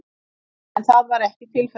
En það var ekki tilfellið